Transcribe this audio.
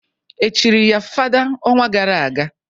Echiri ya fada ọnwa gara aga?